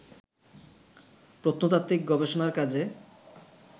প্রত্নতাত্ত্বিক গবেষণার কাজে